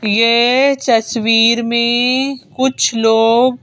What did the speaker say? ये तस्वीर में कुछ लोग--